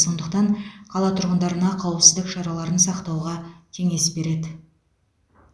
сондықтан қала тұрғындарына қауіпсіздік шараларын сақтауға кеңес береді